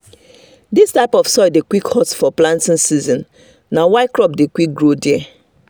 this type of soil dey quick hot for planting season na why crop dey quick grow there.